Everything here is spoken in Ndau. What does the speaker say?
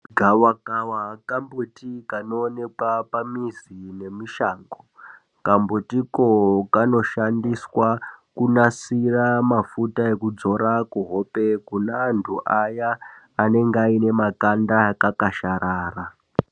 Gawakawa kambuti kanoonekwa pamizi nemushango. Kambutiko kanoshandiswa kunasira mafuta ekudzora kuhope, kuneantu aya anenge ayine makanda akakasharara.